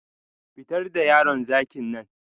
Fitar da yaron zakin nan